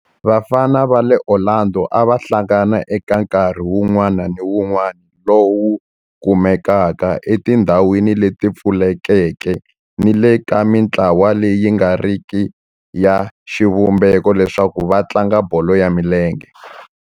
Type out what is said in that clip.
Vafana va le Orlando a va hlangana eka nkarhi wun'wana ni wun'wana lowu kumekaka etindhawini leti pfulekeke ni le ka mintlawa leyi nga riki ya xivumbeko leswaku va tlanga bolo ya milenge.